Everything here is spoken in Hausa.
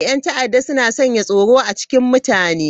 Yan ta'adda suna sanya tsoro a cikin mutane.